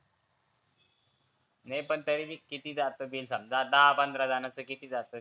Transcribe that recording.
नई पण तरी बी किती जातं ते. समजा दहा पंधरा जनाचं किती जातं?